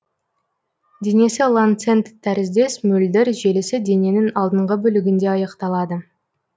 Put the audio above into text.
денесі ланцет тәріздес мөлдір желісі дененің алдыңғы бөлігінде аяқталады